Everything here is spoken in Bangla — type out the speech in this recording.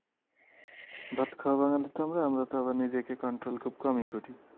ভাত খাওয়া বাঙালি তো আমরা, আমরা তো আবার নিজেকে control খুব কমই করি।